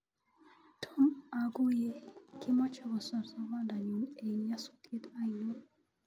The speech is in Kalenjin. Tomo oguye kimoche kosor sobenyun eng nyosutyet ainon?